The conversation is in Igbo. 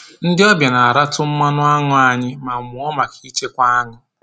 Ndị ọbịa na-aratụ mmanụ aṅụ anyị ma mụọ maka ichekwa aṅụ